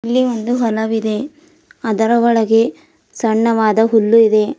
ಇಲ್ಲಿ ಒಂದು ಹೊಲವಿದೆ ಅದರ ಒಳಗೆ ಸಣ್ಣವಾದ ಹುಲ್ಲು ಇದೆ.